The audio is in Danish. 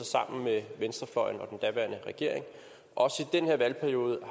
sammen med venstrefløjen og den daværende regering også i den her valgperiode